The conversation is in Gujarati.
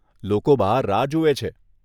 લોકો બહાર રાહ જુએ છે.